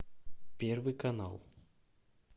первый канал